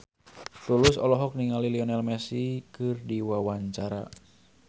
Tulus olohok ningali Lionel Messi keur diwawancara